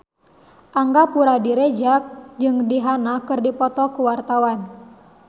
Angga Puradiredja jeung Rihanna keur dipoto ku wartawan